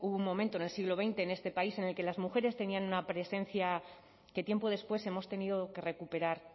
hubo un momento en el siglo veinte en este país en el que las mujeres tenían una presencia que tiempo después hemos tenido que recuperar